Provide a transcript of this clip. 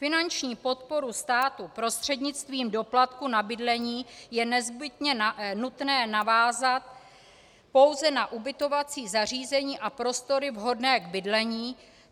Finanční podporu státu prostřednictvím doplatku na bydlení je nezbytně nutné navázat pouze na ubytovací zařízení a prostory vhodné k bydlení.